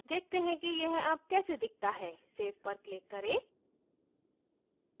देखते हैं कि यह अब कैसे दिखता है save पर click करें